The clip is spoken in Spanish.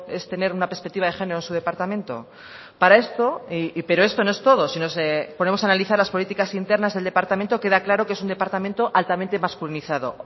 es tener una perspectiva de género en su departamento pero esto no es todo si nos ponemos a analizar las políticas internas del departamento queda claro que es un departamento altamente masculinizado